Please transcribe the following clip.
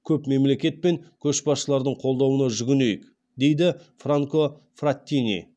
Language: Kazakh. көп мемлекет пен көшбасшылардың қолдауына жүгінейік дейді франко фраттини